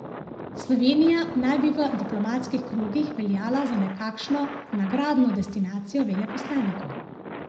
Slovenija naj bi v diplomatskih krogih veljala za nekakšno nagradno destinacijo veleposlanikov.